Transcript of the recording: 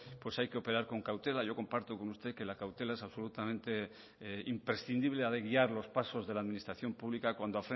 pues hay que operar con cautela yo comparto con usted que la cautela es absolutamente imprescindible ha de guiar los pasos de la administración pública cuando